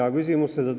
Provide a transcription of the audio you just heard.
Hea küsimus!